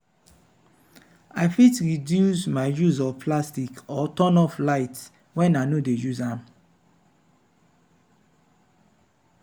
i fit reduce my use of plastic or turn off lights when i no dey use am.